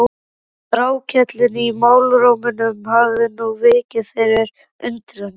Þrákelknin í málrómnum hafði nú vikið fyrir undrun.